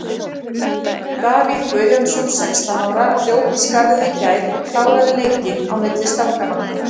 Davíð Guðjónsson, sextán ára, hljóp í skarðið í gær og kláraði leikinn á milli stanganna.